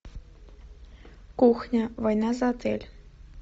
кухня война за отель